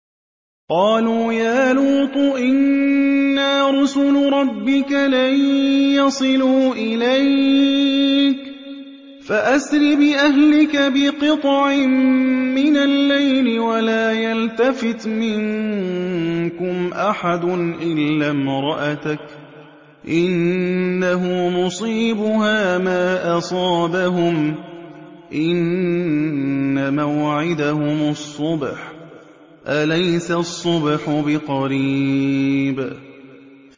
قَالُوا يَا لُوطُ إِنَّا رُسُلُ رَبِّكَ لَن يَصِلُوا إِلَيْكَ ۖ فَأَسْرِ بِأَهْلِكَ بِقِطْعٍ مِّنَ اللَّيْلِ وَلَا يَلْتَفِتْ مِنكُمْ أَحَدٌ إِلَّا امْرَأَتَكَ ۖ إِنَّهُ مُصِيبُهَا مَا أَصَابَهُمْ ۚ إِنَّ مَوْعِدَهُمُ الصُّبْحُ ۚ أَلَيْسَ الصُّبْحُ بِقَرِيبٍ